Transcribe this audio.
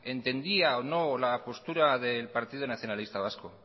entendía o no la postura del partido nacionalista vasco